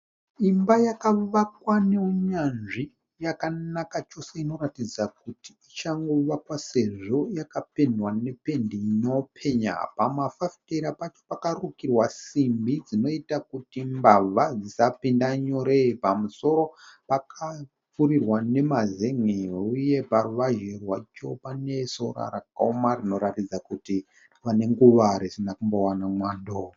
Imba yakavakwa neunyanzvi yakanaka chose inoratidza kuti ichangovakwa sezvo yakapendwa nependi inopenya . Pamafafitera pacho pakarukirwa simbi dzinoita kuti mbavha dzisapinda nyore. Pamusoro pakapfurirwa nemazen'e huye paruvazhe rwacho pane sora rakaoma rinoratidza kuti rava nenguva risina kumbowana mwando.